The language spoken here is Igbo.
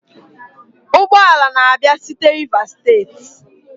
ụgbọ ala na-abịa site Rivers state?